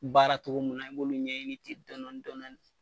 Baaratogo mun na i b'olu ɲɛɲini ten dɔnɔni dɔnɔni